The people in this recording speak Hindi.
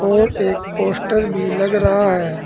और एक पोस्टर भी लग रहा है।